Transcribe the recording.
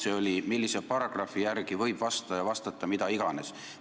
See oli: millise paragrahvi järgi võib vastaja vastata mida iganes?